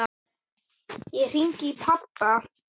Ég hringi í pabba.